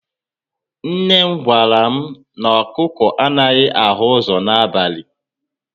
Nne m gwara m,na ọkụkọ anaghị ahụ ụzọ na abali